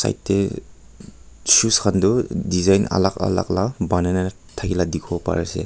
yate shoes khan tu design alak alak la panai na thakeya la dekhi bo bari ase.